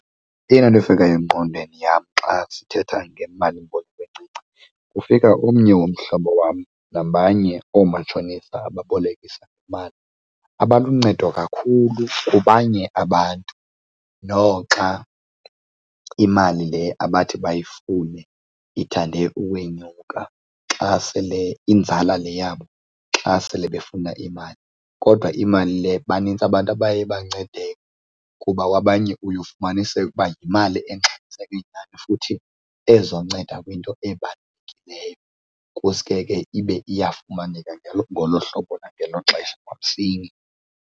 Eyona nto efikayo engqondweni yam xa sithetha ngemalimboleko encinci, kufika omnye womhlobo wam nabanye oomatshonisa ababolekisa ngemali, abaluncedo kakhulu kubanye abantu noxa imali le abathi bayifumane ithande ukwenyuka xa sele inzala le yabo xa sele befuna imali. Kodwa imali le banintsi abantu abaye bancedeka kuba kwabanye uye ufumaniseke uba yimali engxamiseke nyhani futhi ezonceda kwinto ebalulekileyo, kusuke ke ibe iyafumaneka ngolo hlobo nangelo xesha kwamsinya.